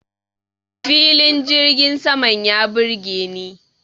Filin jirgin saman ya burgeni.